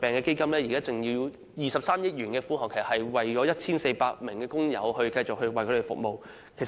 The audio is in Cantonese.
基金現時有23億元的款項，可繼續為 1,400 名工友提供服務。